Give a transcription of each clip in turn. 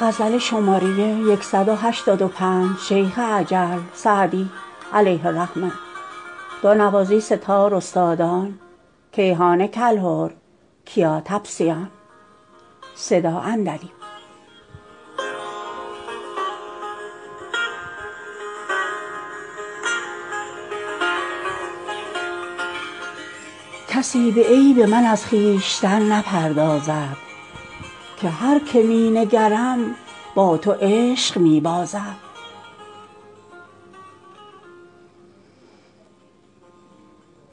کسی به عیب من از خویشتن نپردازد که هر که می نگرم با تو عشق می بازد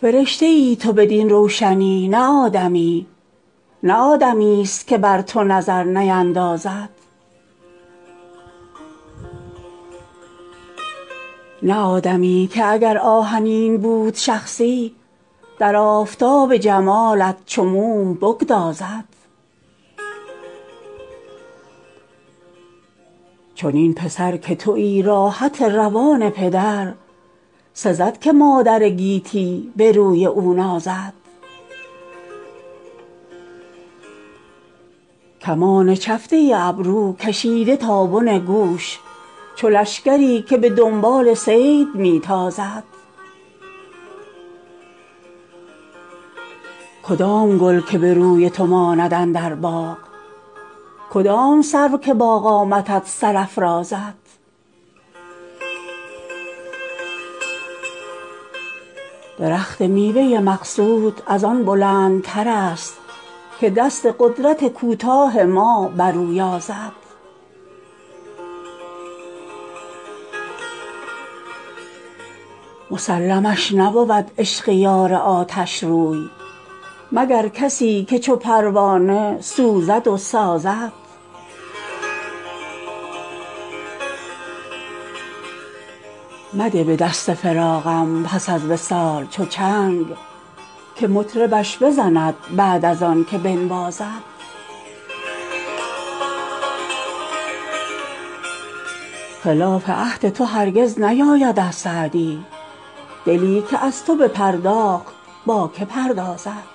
فرشته ای تو بدین روشنی نه آدمیی نه آدمیست که بر تو نظر نیندازد نه آدمی که اگر آهنین بود شخصی در آفتاب جمالت چو موم بگدازد چنین پسر که تویی راحت روان پدر سزد که مادر گیتی به روی او نازد کمان چفته ابرو کشیده تا بن گوش چو لشکری که به دنبال صید می تازد کدام گل که به روی تو ماند اندر باغ کدام سرو که با قامتت سر افرازد درخت میوه مقصود از آن بلندترست که دست قدرت کوتاه ما بر او یازد مسلمش نبود عشق یار آتشروی مگر کسی که چو پروانه سوزد و سازد مده به دست فراقم پس از وصال چو چنگ که مطربش بزند بعد از آن که بنوازد خلاف عهد تو هرگز نیاید از سعدی دلی که از تو بپرداخت با که پردازد